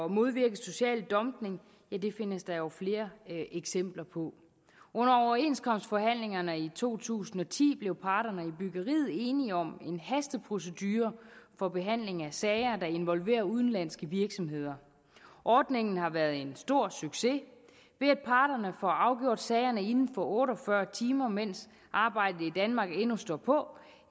modvirke social dumping findes der jo flere eksempler på under overenskomstforhandlingerne i to tusind og ti blev parterne i byggeriet enige om en hasteprocedure for behandling af sager der involverer udenlandske virksomheder ordningen har været en stor succes ved at parterne får afgjort sagerne inden for otte og fyrre timer mens arbejdet i danmark endnu stod på